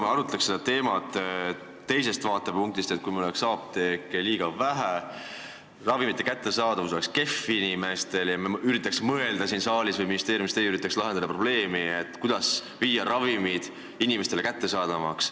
Arutaks seda teemat teisest vaatepunktist, näiteks, kui meil oleks apteeke liiga vähe, ravimite kättesaadavus kehv ja meie siin saalis või teie ministeeriumis üritaks lahendada probleemi, kuidas teha ravimid inimestele kättesaadavamaks.